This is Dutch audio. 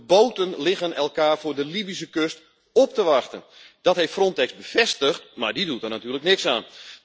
De boten liggen elkaar voor de Libische kust op te wachten. Dat heeft Frontex bevestigd, maar dat doet er natuurlijk niks aan.